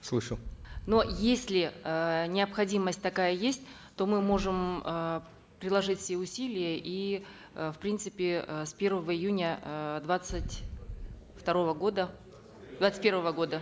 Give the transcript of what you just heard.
слышу но если э необходимость такая есть то мы можем э приложить все усилия и э в принципе э с первого июня э двадцать второго года двадцать первого года